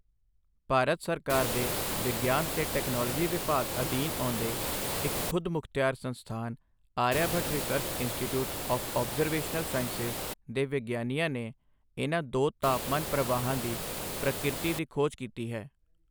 ਭਾਰਤ ਸਰਕਾਰ ਦੇ ਵਿਗਿਆਨ ਤੇ ਟੈਕਨੋਲੋਜੀ ਵਿਭਾਗ ਅਧੀਨ ਆਉਂਦੇ ਇੱਕ ਖ਼ੁਦਮੁਖਤਿਆਰ ਸੰਸਥਾਨ Aryabhatta research institute of observational sciences ਦੇ ਵਿਗਿਆਨੀਆਂ ਨੇ ਇਨ੍ਹਾਂ ਦੋ ਤਾਪਮਾਨ ਪ੍ਰਵਾਹਾਂ ਦੀ ਪ੍ਰਕਿਰਤੀ ਦੀ ਖੋਜ ਕੀਤੀ ਹੈ।